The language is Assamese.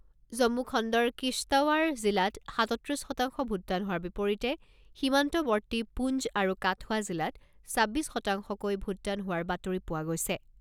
জম্মু খণ্ডৰ কিশ্বটৱাৰ জিলাত সাতত্ৰিছ শতাংশ ভোটদান হোৱাৰ বিপৰীতে সীমান্তৱৰ্তী পুঞ্জ আৰু কাঠুৱা জিলাত ছাব্বিছ শতাংশকৈ ভোটদান হোৱাৰ বাতৰি পোৱা গৈছে।